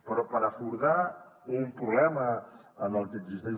però per abordar un problema en el que existeix